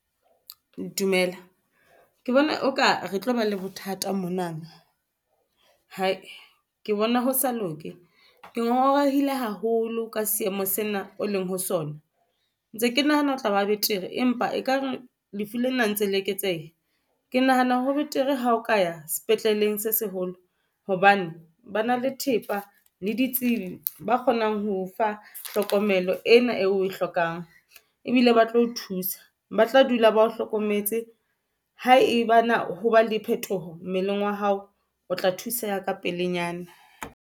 Dumela, ke bona oka re tlo ba le bothata monana. Ke bona ho sa loke, ke ngongorehile haholo ka seemo sena o leng ho sona. Ntse ke nahana ho tlaba betere, empa ekare lefu lena ntse le eketseha. Ke nahana ho betere ha o ka ya sepetleleng se seholo hobane ba na le thepa le ditsibi, ba kgonang ho fa tlhokomelo ena eo oe hlokang. Ebile ba tlo o thusa, ba tla dula ba hlokometse ha eba na ho ba le phetoho mmeleng wa hao, o tla thuseha ka pelenyana.